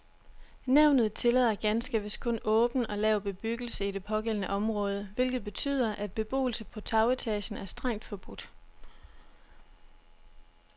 Nævnet tillader ganske vist kun åben og lav bebyggelse i det pågældende område, hvilket betyder, at beboelse på tagetagen er strengt forbudt.